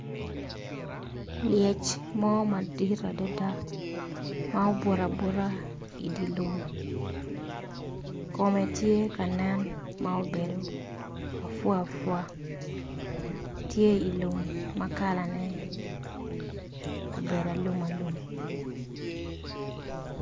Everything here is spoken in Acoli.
Lyec mo madit adada ma obuto abuta idilum kome tye kanen ma obedo afwafea tye ilum ma kalane obedo alum alum